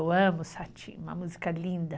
Eu amo Sati, uma música linda.